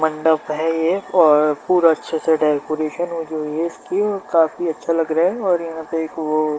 मंडप है ये और पूरा अच्छे से डेकोरेशन वो जो है इसकी वो काफी अच्छा लग रहा है और यहाँ पे एक वो --